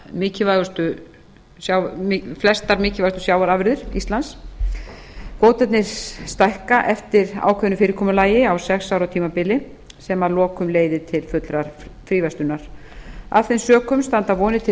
mikilvægustu sjávarafurðir íslands kvótarnir stækka eftir ákveðnu fyrirkomulagi á sex ára tímabili sem að lokum leiðir til fullrar fríverslunar af þeim sökum standa vonir til